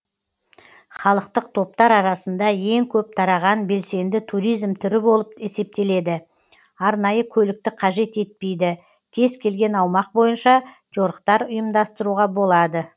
халықтық топтар арасында ең көп тараған белсенді туризм түрі болып есептеледі арнайы көлікті қажет етпейді кез келген аумақ бойынша жорықтар ұйымдастыруға болады